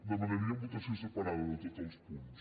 demanaríem votació separada de tots els punts